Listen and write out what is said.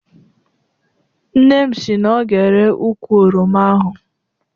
Nne m si na ọ ga-ere ukwụ oroma ahụ.